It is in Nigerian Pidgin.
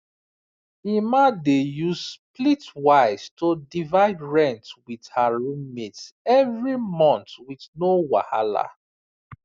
emma dey use splitwise to divide rent with her roommates every month with no wahala